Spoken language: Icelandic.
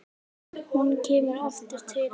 Hún kemur aftur til hans.